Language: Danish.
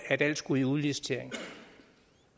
at alt skulle i udlicitering